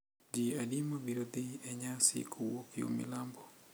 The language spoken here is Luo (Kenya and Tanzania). Ji adi mabiro dhi e nyasi kowuok yo milambo?